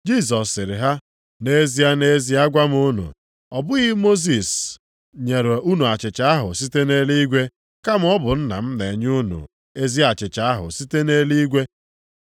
Jisọs sịrị ha, “Nʼezie, nʼezie agwa m unu, ọ bụghị Mosis nyere unu achịcha ahụ site nʼeluigwe, kama ọ bụ Nna m na-enye unu ezi achịcha ahụ site nʼeluigwe.